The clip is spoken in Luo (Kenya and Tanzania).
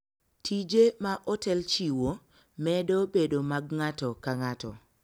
Tije ma otel chiwo, medo bedo mag ng'ato ka ng'ato.